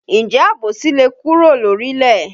Ǹjẹ́ àbòsí le kúrò lórílẹ̀?